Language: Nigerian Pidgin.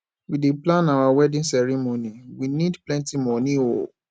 we dey plan our wedding ceremony we need plenty moni o